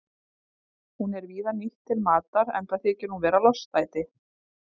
Hún er víða nýtt til matar enda þykir hún vera lostæti.